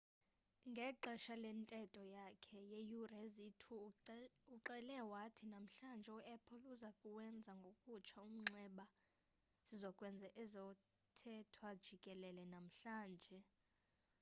ngexesha lentetho yakhe yeeyure eziyi-2 uxele wathi namhlanje u-apple uzokuwenza ngokutsha umnxeba sizo kwenza ezothethwa jikelele namhlanje